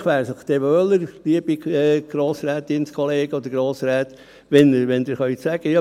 Vielleicht wäre es Ihnen dann wohler, liebe Grossratskolleginnen oder Grossräte, wenn Sie sagen können: